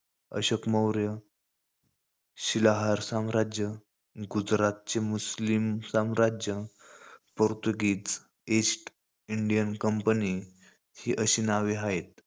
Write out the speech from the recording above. अशोक मौर्य, शिलाहार साम्राज्य, गुजरातचे मुस्लिम साम्राज्य, पोर्तृगीज, ईस्ट इंडियन कंपनी, ही अशी नावे आहेत.